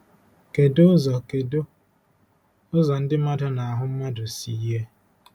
Kedu ụzọ Kedu ụzọ ndị mmadụ na ahụ mmadụ si yie?